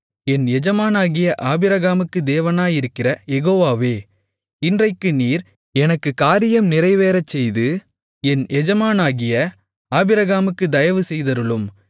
என் எஜமானாகிய ஆபிரகாமுக்கு தேவனாயிருக்கிற யெகோவாவே இன்றைக்கு நீர் எனக்குக் காரியம் நிறைவேறச்செய்து என் எஜமானாகிய ஆபிரகாமுக்குத் தயவு செய்தருளும்